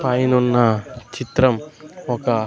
పైనున్న చిత్రం ఒక--